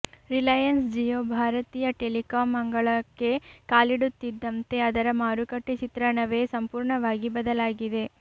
ರಿಲಯನ್ಸ್ ಜಿಯೋ ಭಾರತೀಯ ಟೆಲಿಕಾಂ ಅಂಗಳಕ್ಕೆ ಕಾಲಿಡುತ್ತಿದ್ದಂತೆ ಅದರ ಮಾರುಕಟ್ಟೆ ಚಿತ್ರಣವೇ ಸಂಪೂರ್ಣವಾಗಿ ಬದಲಾಗಿದೆ